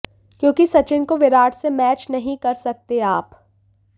क्योंकि सचिन को विराट से मैच नहीं कर सकते आप